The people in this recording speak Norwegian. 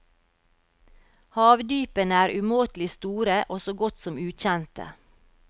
Havdypene er umåtelig store og så godt som ukjente.